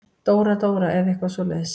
Dóra-Dóra eða eitthvað svoleiðis.